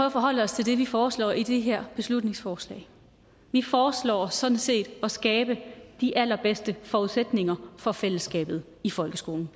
at forholde os til det vi foreslår i det her beslutningsforslag vi foreslår sådan set at skabe de allerbedste forudsætninger for fællesskabet i folkeskolen